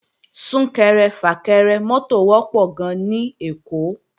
Sún-kẹrẹ-fà-kẹrẹ mọ́tò wọ́pọ̀ gan-an ní Èkó